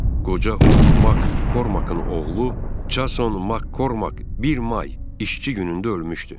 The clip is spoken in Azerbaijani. Qoca Hook Mak Kormakın oğlu Jason Mak Kormak 1 may İşçi günündə ölmüşdü.